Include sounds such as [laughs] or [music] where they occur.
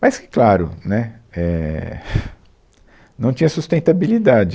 Mas, que claro, né, é, [laughs] não tinha sustentabilidade.